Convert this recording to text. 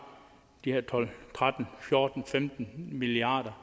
de her tolv tretten fjorten femten milliard